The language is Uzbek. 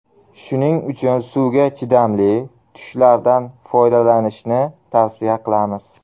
Shuning uchun suvga chidamli tushlardan foydalanishni tavsiya qilamiz.